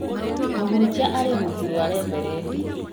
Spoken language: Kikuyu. Mũhunjia arĩ rungu rwa reverendi